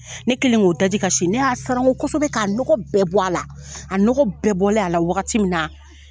Ne kɛlen ko daji ka si ne y'a sanango kosɛbɛ ka nɔgɔ bɛɛ bɔ a la, a nɔgɔ bɛɛ bɔlen a la wagati min na